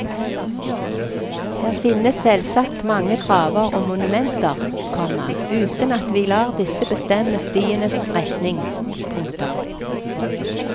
Her finnes selvsagt mange graver og monumenter, komma uten at vi lar disse bestemme stienes retning. punktum